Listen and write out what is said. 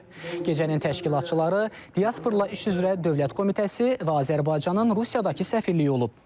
Gecənin təşkilatçıları, Diasporla İş üzrə Dövlət Komitəsi və Azərbaycanın Rusiyadakı səfirliyi olub.